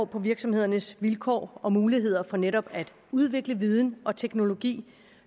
på virksomhedernes vilkår og muligheder for netop at udvikle viden og teknologi